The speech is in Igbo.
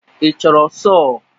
Ị chọrọ sọọ?